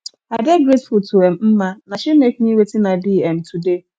i dey grateful to um mma na she make me wetin i be um today